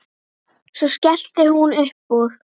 Svo skellti hún upp úr.